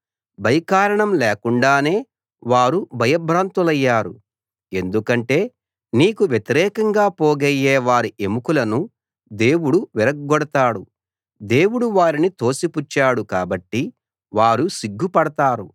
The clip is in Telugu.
భయకారణం లేకుండానే వారు భయభ్రాంతులయ్యారు ఎందుకంటే నీకు వ్యతిరేకంగా పోగయ్యే వారి ఎముకలను దేవుడు విరగ్గొడతాడు దేవుడు వారిని తోసిపుచ్చాడు కాబట్టి వారు సిగ్గుపడతారు